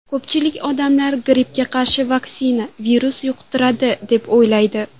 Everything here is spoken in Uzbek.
Ko‘pchilik odamlar grippga qarshi vaksina virus yuqtiradi deb o‘ylaydi.